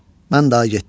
Mən daha getdim.